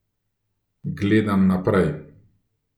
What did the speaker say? Gledam naprej.